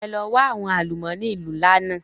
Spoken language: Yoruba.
Ẹ lọ wa àwọn àlùmọ́nì ìlú ńlá náà!